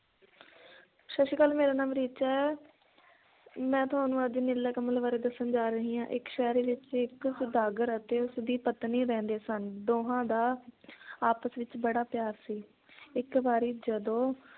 ਸਤ ਸ਼੍ਰੀ ਅਕਾਲ ਮੇਰਾ ਨਾਮ ਰੀਚਾ ਹੈ ਮੈ ਤੁਹਾਨੂੰ ਅੱਜ ਨੀਲਾ ਕਮਲ ਬਾਰੇ ਦੱਸਣ ਜਾ ਰਹੀ ਹਾਂ, ਇੱਕ ਸ਼ਹਿਰ ਵਿਚ ਇੱਕ ਸੌਦਾਗਰ ਅਤੇ ਉਸ ਦੀ ਪਤਨੀ ਰਹਿੰਦੇ ਸਨ ਦੋਹਾਂ ਦਾ ਆਪਸ ਵਿਚ ਬੜਾ ਪਿਆਰ ਸੀ ਇੱਕ ਵਾਰੀ ਜਦੋਂ